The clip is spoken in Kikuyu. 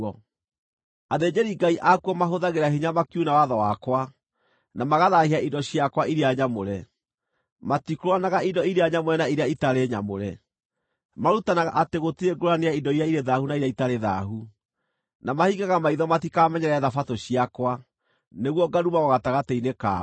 Athĩnjĩri-Ngai akuo mahũthagĩra hinya makiuna watho wakwa, na magathaahia indo ciakwa iria nyamũre; matikũũranaga indo iria nyamũre na iria itarĩ nyamũre; marutanaga atĩ gũtirĩ ngũũrani ya indo irĩ thaahu na iria itarĩ thaahu; na mahingaga maitho matikamenyerere Thabatũ ciakwa, nĩguo ngarumagwo gatagatĩ-inĩ kao.